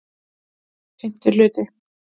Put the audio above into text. VI Hluti